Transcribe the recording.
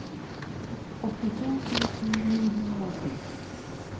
åttito tusen ni hundre og ti